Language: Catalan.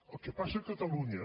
el que passa a catalunya